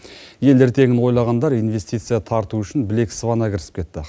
ел ертеңін ойлағандар инвестиция тарту үшін білек сыбана кірісіп кетті